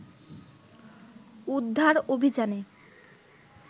উদ্ধার অভিযানে